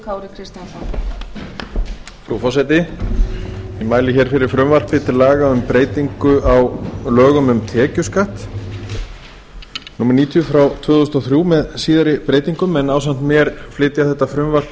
frú forseti ég mæli hér fyrir frumvarpi til laga um breytingu á lögum um tekjuskatt númer níutíu tvö þúsund og þrjú með síðari breytingum ásamt mér flytja þetta frumvarp